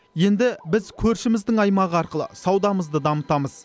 енді біз көршіміздің аймағы арқылы саудамызды дамытамыз